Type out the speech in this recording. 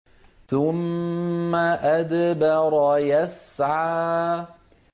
ثُمَّ أَدْبَرَ يَسْعَىٰ